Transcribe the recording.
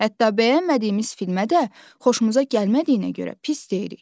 Hətta bəyənmədiyimiz filmə də xoşumuza gəlmədiyinə görə pis deyirik.